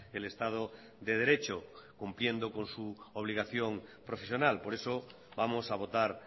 el estado de derecho cumpliendo con su obligación profesional por eso vamos a votar